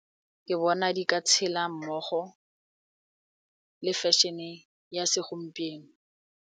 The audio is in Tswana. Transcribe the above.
Ke bona di ka tshela mmogo le fashion-e ya segompieno.